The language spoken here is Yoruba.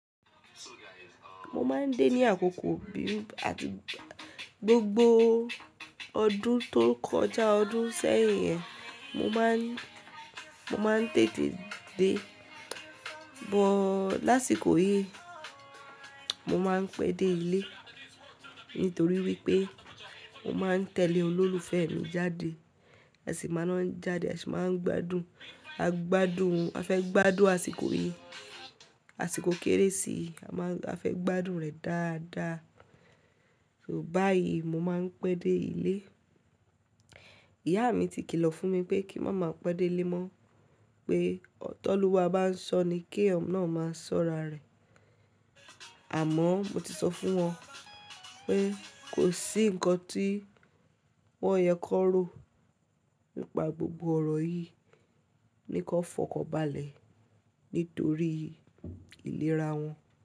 Mo máa ń dé ní àkókò bí i gbogbo ọdún tó kọjá ọdún sẹ́yìn yẹn, mo máa ń, mo máa ń tètè dé. Bọ́ lásìkò yìí, mo máa ń pẹ́ dé ilé nítorí wípé mo máa ń tẹ̀lé olólùfẹ́ mi jáde, a sì máa ń jáde, a sì máa ń gbádùn, a gbádùn, a fẹ́ gbádùn àsìkò yìí, àsìkò kérésì, a máa ń, a fẹ́ gbádùn rẹ̀ dáadáa. So báyìí mo máa ń pẹ́ dé ilé. Ìyá mi ti kìlọ̀ fún mi pé kí n má máa pẹ́ dé ilé mọ́, pé tọ́lúwa bá ń ṣọ ni kí èèyàn náà máa sọ́ra rẹ̀. Àmọ́ mo ti sọ fún wọn pé kò sí ǹkan tí wọ́n yẹ kó ro nípa gbogbo ọ̀rọ̀ yìí ni kó fọkọ́balẹ̀ nítorí ìlera wọn.